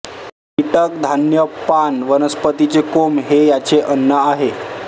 कीटक धान्य पाण वनस्पतीचे कोंब हे याचे अन्न आहे